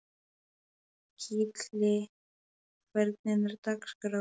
Gillý, hvernig er dagskráin?